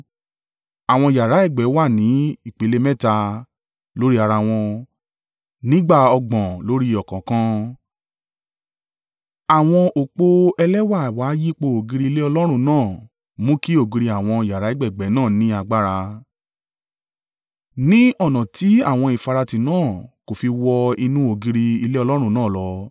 Àwọn yàrá ẹ̀gbẹ́ wà ni ipele mẹ́ta, lórí ara wọn, nígbà ọgbọ̀n lórí ọ̀kọ̀ọ̀kan. Àwọn òpó ẹlẹ́wà wà yípo ògiri ilé Ọlọ́run náà mú kí ògiri àwọn yàrá ẹ̀gbẹ̀gbẹ́ náà ní agbára, ni ọ̀nà tí àwọn ìfaratì náà kò fi wọ inú ògiri ilé Ọlọ́run náà lọ.